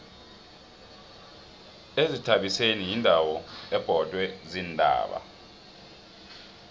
izithabiseni yindawo ebhodwe ziintaba